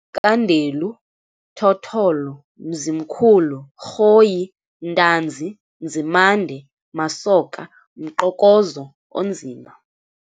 KaNdelu, Thotholo, Mzimkhulu, Rhoyi, Ntanzi, Nzimande, Masoka, Mqokozo onzima.